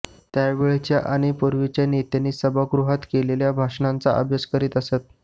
त्यावेळच्या आणि पूर्वीच्या नेत्यांनी सभागृहात केलेल्या भाषणांचा अभ्यास करीत असत